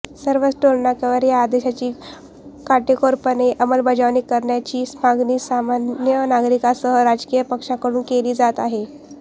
सर्वच टोलनाक्यांवर या आदेशाची काटेकोरपणे अंमलबजावणी करण्याची मागणी सामान्य नागरिकांसह राजकीय पक्षांकडून केली जात आहे